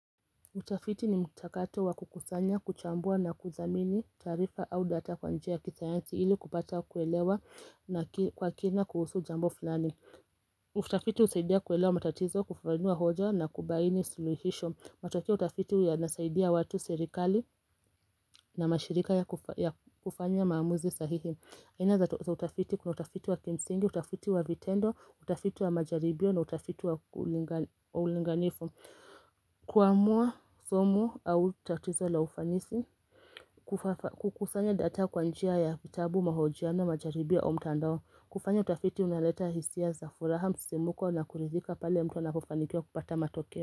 Utafiti ni mtakato wa kukusanya, kuchambua na kuthamini taarifa au data kwa njia ya kisayansi ili kupata kuelewa na kwa kina kuhusu jambo fulani. Utafiti husaidia kuelewa matatizo, kufafanua hoja na kubaini suluhisho. Matokea ya utafiti yanasaidia watu, serikali na mashirika ya kufanya maamuzi sahihi. Aina za utafiti kuna utafiti wa kimsingi, utafiti wa vitendo, utafiti wa majaribio na utafiti wa ulinganifu. Kuamua somo au tatizo la ufanisi. Kukusanya data kwa njia ya vitabu, mahojiano, majaribio au mtandao. Kufanya utafiti unaleta hisia za furaha, msimuko na kuridhika pale mtu anapofanikiwa kupata matokeo.